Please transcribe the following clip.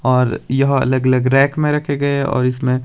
और यह अलग अलग रैक में रखें गए और इसमें--